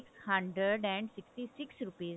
hundred and sixty six rupees the